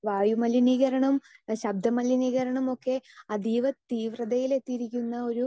speaker 2 വായുമലിനീകരണം ശബ്ദമലിനീകരണമൊക്കെ അതീവ തീവ്രതയിലെത്തിയിരിക്കുന്ന ഒരു